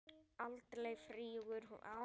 Aldrei flýgur hún aftur